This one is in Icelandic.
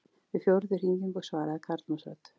Við fjórðu hringingu svaraði karlmannsrödd.